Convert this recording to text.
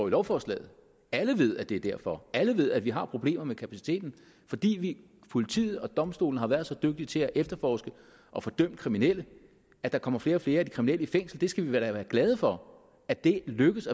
i lovforslaget alle ved at det er derfor alle ved at vi har problemer med kapaciteten fordi politiet og domstolene har været så dygtige til at efterforske og få dømt kriminelle at der kommer flere og flere af de kriminelle i fængsel vi skal da være glade for at det lykkes